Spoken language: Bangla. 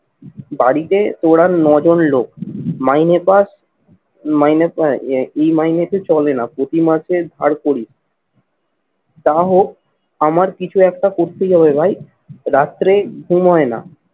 বাড়িতে তোর আর নজন লোক। মাইনে পাস, মাইনে এই মাইনেতে চলে না, প্রতি মাসে ধার করি। তা হোক আমার কিছু একটা করতেই হবে ভাই রাত্রে ঘুম হয় না।